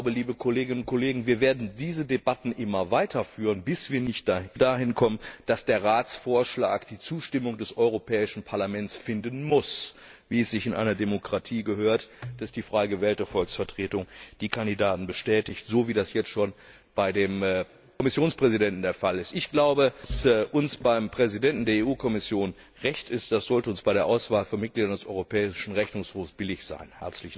Denn ich glaube, liebe Kolleginnen und Kollegen, wir werden diese Debatten immer weiter führen, bis wir dahin kommen, dass der Ratsvorschlag die Zustimmung des Europäischen Parlaments finden muss, wie es sich in einer Demokratie gehört, dass die frei gewählte Volksvertretung die Kandidaten bestätigt, so wie das jetzt schon bei dem Kommissionspräsidenten der Fall ist. Was uns beim Präsidenten der EU Kommission recht ist, das sollte uns bei der Auswahl von Mitgliedern des Europäischen Rechnungshofs billig sein.